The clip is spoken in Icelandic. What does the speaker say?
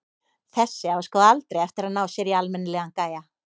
Þessi á sko aldrei eftir að ná sér í almennilegan gæja.